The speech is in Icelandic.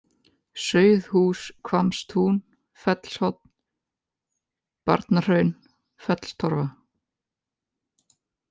Sauðhúshvammstún, Fellshorn, Barnahraun, Fellstorfa